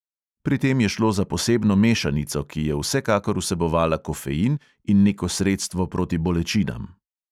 Pri tem je šlo za posebno mešanico, ki je vsekakor vsebovala kofein in neko sredstvo proti bolečinam.